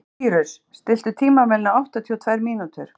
Sýrus, stilltu tímamælinn á áttatíu og tvær mínútur.